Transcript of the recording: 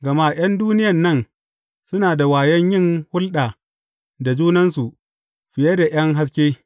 Gama ’yan duniyan nan suna da wayon yin hulɗa da junansu fiye da ’yan haske.